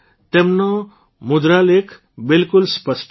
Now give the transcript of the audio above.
તેમનો મુદ્રાલેખ બિલકુલ સ્પષ્ટ છે